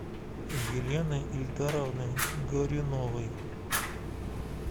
елены ильдаровны горюновой